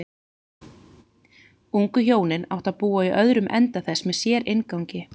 Ungu hjónin áttu að búa í öðrum enda þess með sérinngangi.